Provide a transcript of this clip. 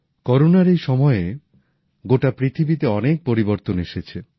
করোনার এই সময়ে গোটা পৃথিবীতে অনেক পরিবর্তন এসেছে